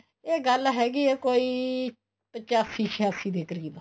ਇਹ ਗੱਲ ਹੈਗੀ ਆ ਕੋਈ ਪਚਾਸੀ ਛਿਆਸੀ ਦੇ ਕਰੀਬ